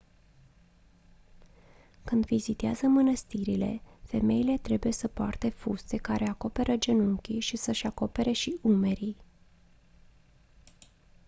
când vizitează mânăstirile femeile trebuie să poarte fuste care acoperă genunchii și să-și acopere și umerii